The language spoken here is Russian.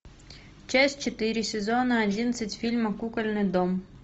часть четыре сезона одиннадцать фильма кукольный дом